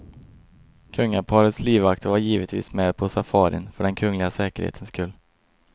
Kungaparets livvakter var givetvis med på safarin för den kungliga säkerhetens skull.